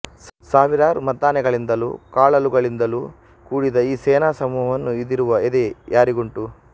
ಸಾವಿರಾರು ಮದ್ದಾನೆಗಳಿಂದಲೂ ಕಾಲಾಳುಗಳಿಂದಲೂ ಕೂಡಿದ ಈ ಸೇನಾ ಸಮೂಹವನ್ನು ಇದಿರುವ ಎದೆ ಯಾರಿಗುಂಟು